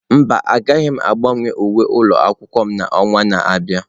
Mba, agaghị m agbanwe uwe ụlọ akwụkwọ m n'ọnwa na-abịa.